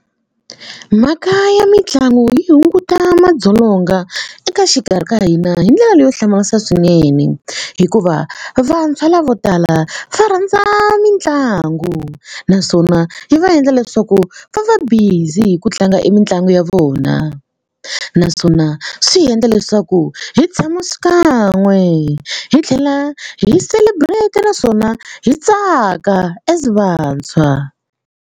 Mhaka ya mitlangu yi hunguta madzolonga eka xikarhi ka hina hi ndlela leyo hlamarisa swinene hikuva vantshwa lavo tala va rhandza mitlangu naswona yi va endla leswaku ku va va busy hi ku tlanga e mitlangu ya vona naswona swi hi endla leswaku hi tshama swikan'we hi tlhela hi celebrate naswona hi tsaka as vantshwa.